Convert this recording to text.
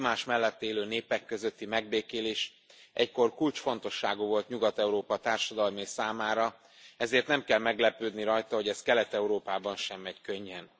Az egymás mellett élő népek közötti megbékélés egykor kulcsfontosságú volt Nyugat Európa társadalmai számára, ezért nem kell meglepődni rajta, hogy ez Kelet Európában sem megy könnyen.